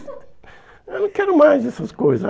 Eu não quero mais essas coisas.